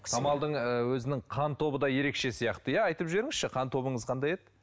самалдың ы өзінің қан тобы да ерекше сияқты иә айтып жіберіңізші қан тобыңыз қандай еді